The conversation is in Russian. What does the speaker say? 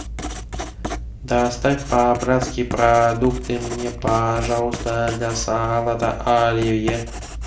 доставь по братски продукты мне пожалуйста для салата оливье